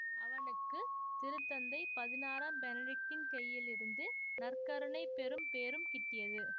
அவனுக்கு திருத்தந்தை பதினாறாம் பெனடிக்ட்டின் கைகளிலிருந்து நற்கருணை பெறும் பேறும் கிட்டியது